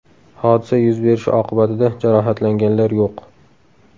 Hodisa yuz berishi oqibatida jarohatlanganlar yo‘q”.